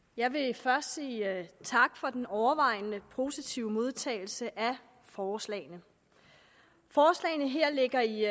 jeg vil først sige tak for den overvejende positive modtagelse af forslagene forslagene her ligger i